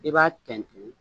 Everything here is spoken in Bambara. I b'a tɛntɛn